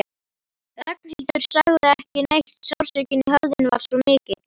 Ragnhildur sagði ekki neitt, sársaukinn í höfðinu var svo mikill.